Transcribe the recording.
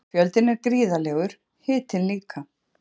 Fjöldinn er gríðarlegur, hitinn líka.